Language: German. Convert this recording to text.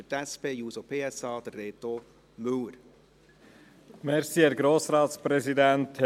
Für die SP-JUSO-PSA hat Reto Müller das Wort.